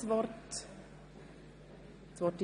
Die Veranlagung hat auf dieser Basis zu erfolgen.